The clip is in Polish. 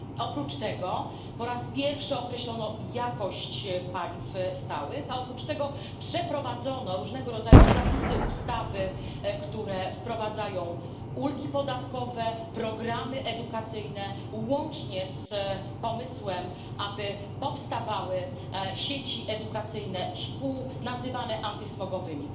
Oprócz tego po raz pierwszy określono jakość paliw stałych, a oprócz tego przeprowadzono różnego rodzaju zapisy, ustawy, które wprowadzają ulgi podatkowe, programy edukacyjne, łącznie z pomysłem, aby powstawały sieci edukacyjne szkół nazywane antysmogowymi.